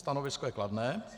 Stanovisko je kladné.